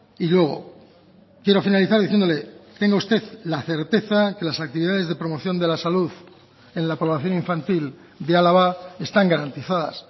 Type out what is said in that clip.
y luego quiero finalizar diciéndole tenga usted la certeza que las actividades de promoción de la salud en la población infantil de álava están garantizadas